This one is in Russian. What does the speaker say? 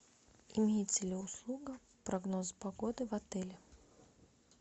имеется ли услуга прогноз погоды в отеле